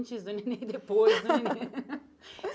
Antes do Nenê e depois do Nenê.